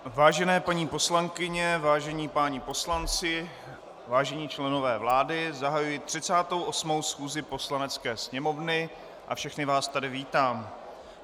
Vážené paní poslankyně, vážení páni poslanci, vážení členové vlády, zahajuji 38. schůzi Poslanecké sněmovny a všechny vás tady vítám.